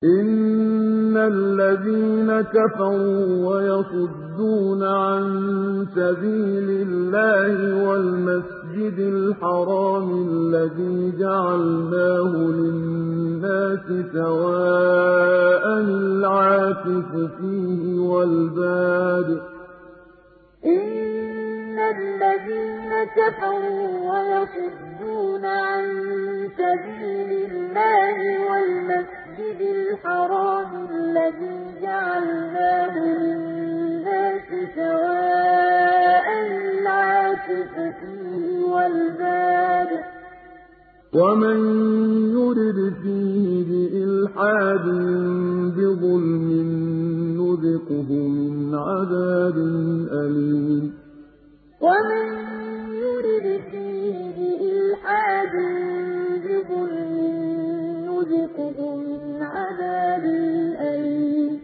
إِنَّ الَّذِينَ كَفَرُوا وَيَصُدُّونَ عَن سَبِيلِ اللَّهِ وَالْمَسْجِدِ الْحَرَامِ الَّذِي جَعَلْنَاهُ لِلنَّاسِ سَوَاءً الْعَاكِفُ فِيهِ وَالْبَادِ ۚ وَمَن يُرِدْ فِيهِ بِإِلْحَادٍ بِظُلْمٍ نُّذِقْهُ مِنْ عَذَابٍ أَلِيمٍ إِنَّ الَّذِينَ كَفَرُوا وَيَصُدُّونَ عَن سَبِيلِ اللَّهِ وَالْمَسْجِدِ الْحَرَامِ الَّذِي جَعَلْنَاهُ لِلنَّاسِ سَوَاءً الْعَاكِفُ فِيهِ وَالْبَادِ ۚ وَمَن يُرِدْ فِيهِ بِإِلْحَادٍ بِظُلْمٍ نُّذِقْهُ مِنْ عَذَابٍ أَلِيمٍ